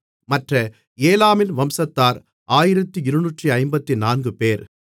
மற்ற ஏலாமின் வம்சத்தார் 1254 பேர்